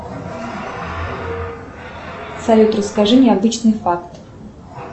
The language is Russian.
салют расскажи необычный факт